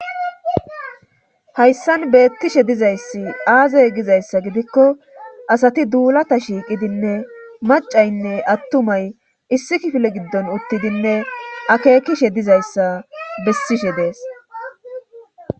hayssan beettishe dizayssi aazay gizayssa gidikko asati duulata shiiqidinne macaynne attumay issi kifile giddon uttidinne akeekishe dizayssa bessishe dees